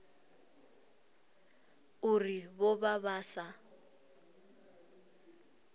uri vho vha vha sa